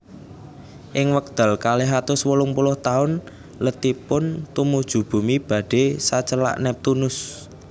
Ing wekdal kalih atus wolung puluh taun letipun tumuju Bumi badhé sacelak Neptunus